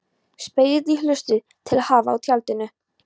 Spegill í hulstri til að hafa í tjaldinu.